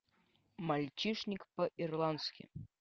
мальчишник по ирландски